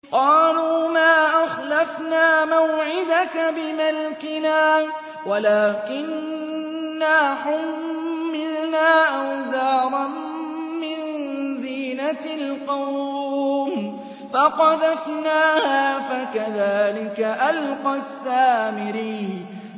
قَالُوا مَا أَخْلَفْنَا مَوْعِدَكَ بِمَلْكِنَا وَلَٰكِنَّا حُمِّلْنَا أَوْزَارًا مِّن زِينَةِ الْقَوْمِ فَقَذَفْنَاهَا فَكَذَٰلِكَ أَلْقَى السَّامِرِيُّ